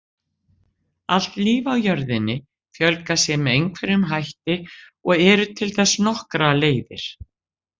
Allt líf á jörðinni fjölgar sér með einhverjum hætti og eru til þess nokkrar leiðir.